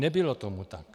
Nebylo tomu tak.